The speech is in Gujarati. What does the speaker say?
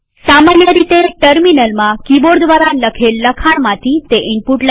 સામાન્ય રીતે ટર્મિનલમાં કિબોર્ડ દ્વારા લખેલ લખાણમાંથી તે ઈનપુટ લે છે